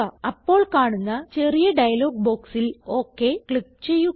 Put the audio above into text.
അപ്പോൾ കാണുന്ന ചെറിയ ഡയലോഗ് ബോക്സിൽ ഒക് ക്ലിക്ക് ചെയ്യുക